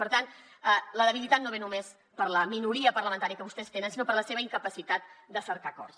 per tant la debilitat no ve només per la minoria parlamentària que vostès tenen sinó per la seva incapacitat de cercar acords